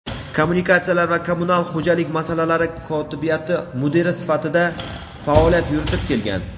kommunikatsiyalar va kommunal xo‘jalik masalalari kotibiyati mudiri sifatida faoliyat yuritib kelgan.